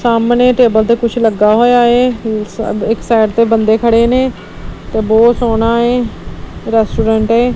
ਸਾਹਮਣੇ ਟੇਬਲ ਤੇ ਕੁਝ ਲੱਗਾ ਹੋਇਆ ਹ ਇੱਕ ਸਾਈਡ ਤੇ ਬੰਦੇ ਖੜੇ ਨੇ ਤੇ ਬਹੁਤ ਸੋਹਣਾ ਏ ਰੈਸਟੋਰੈਂਟ ਏ।